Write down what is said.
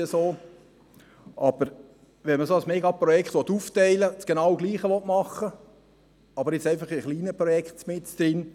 Wenn man ein solches Megaprojekt aufteilt und genau das gleiche machen will, aber jetzt einfach mit kleinen Projekten mittendrin: